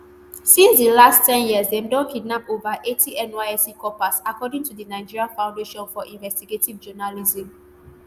since di last ten years dem don kidnap over eighty nysc corpersaccording to the nigerian foundation for investigative journalism